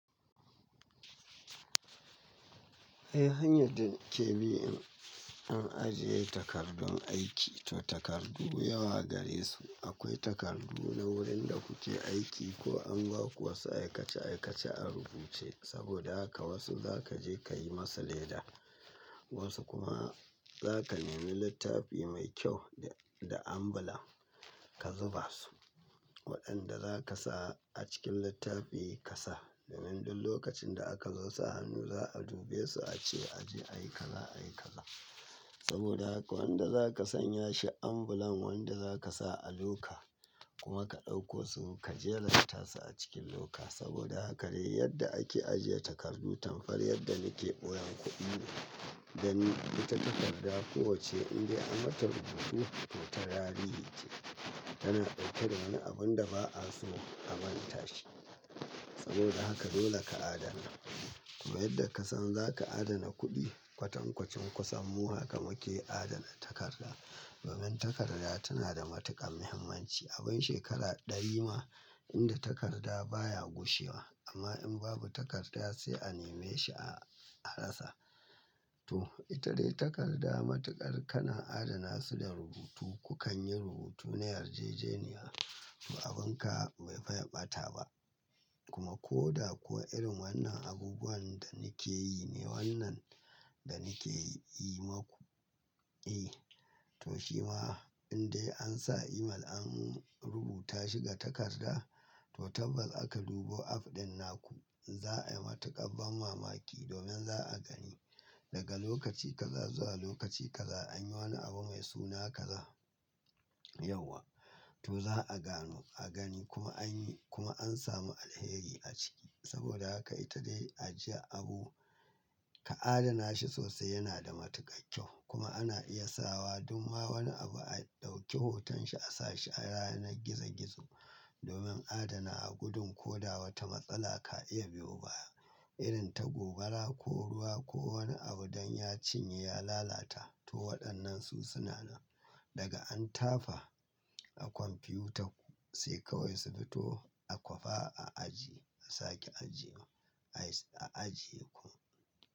Eh, hanyar da nake bi in ajiye takardun aiki. To takardu yawa gare su. Akwai takardu na wurin da kuke aiki ko an ba ku wasu aikace aikace a rubuce saboda haka wasu za ka je ka yi masa leda. Wasu kuma za ka nemi littafi mai kyau da ambulan ka zuba su waɗanda za kasa a cikin littafi ka sa. Domin duk lokacin da aka zo sa hannu za a dube su a ce a je a yi kaza a yi kaza. Saboda haka wanda za ka sanya shi ambulan wanda za ka sa a loka kuma ka ɗauko su ka jeranta su a cikin loka. Saboda haka dai yadda ake ajiye takardu, tamkar yadda nake ɓoyen kuɗi dani ita takarda kowacce indai an mata rubutu to ta tarihi ce tana ɗauke da wani abun da ba'a so a manta shi. Saboda haka dole ka adana. Kuma yadda ka san za ka adana kuɗi kwatankwacin ku san mu haka muke adana takarda. Domin takarda tana da matuƙar muhimmanci. Abin shekara ɗari ma inda takarda baya gushewa amma in babu takarda sai a neme shi a rasa. To ita dai takarda matuƙar kana adana su da rubutu. Ku kan yi rubutu na yarjejeniya to abin ka bai fiye ɓata ba. Kuma ko da kuwa irin wannan abubuwan da nake yi ne wannan da nake yi maku. Eh to shima indai an sa email an rubuta shi ga takarda to tabbas aka dubo app ɗin naku. Za'a yi matuƙar ban mamaki domin za'a gani daga lokaci kaza zuwa lokaci kaza an yi wani abu mai suna kaza yauwa. To za'a gano a gani kuma anyi kuma an samu alheri a ciki. Saboda haka ita dai ajiyar abu ka adana shi sosai yana da matuƙar kyau. Kuma ana iya sawa duk ma wani abu a ɗauki hoton shi a sa shi a yanar gizo gizo domin adana gudun ko da wata matsala ka iya biyo baya irin ta gobara ko ruwa ko wani abu don ya cinye ya lalata. To waɗannan su suna nan daga an tafa a kwamfiyutar ku sai kawai su fito a kwafa a ajiye a sake ajiye a ajiye ku.